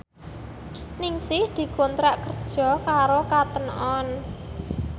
Ningsih dikontrak kerja karo Cotton On